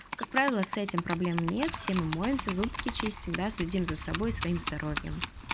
как правило с этим проблем нет всем моемся зубки чистим проследим за собой своим здоровьем